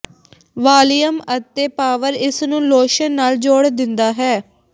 volume ਅਤੇ power ਇਸ ਨੂੰ ਲੋਸ਼ਨ ਨਾਲ ਜੋੜ ਦਿੰਦਾ ਹੈ